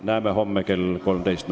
Näeme homme kell 13.